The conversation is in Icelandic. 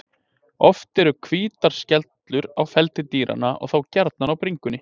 Oft eru hvítar skellur á feldi dýranna og þá gjarnan á bringu.